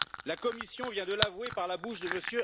La Commission vient de l'avouer par la bouche de M.